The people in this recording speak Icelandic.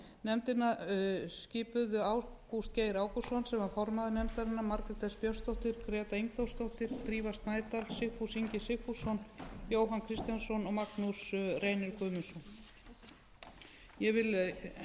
nefndina skipuðu ágúst geir ágústsson sem var formaður nefndarinnar margrét s björnsdóttir gera ingþórsdóttir drífa snædal sigfús ingi sigfússon jóhann kristjánsson og magnús reynir guðmundsson ég vil nota þetta tækifæri